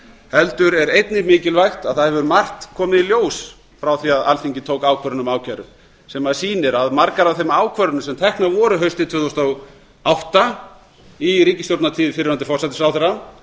heldur er einnig mikilvægt að það hefur margt komið í ljós frá því að alþingi tók ákvörðun um ákæru sem sýnir að margar af þeim ákvörðunum sem teknar voru haustið tvö þúsund og átta í ríkisstjórnartíð fyrrverandi forsætisráðherra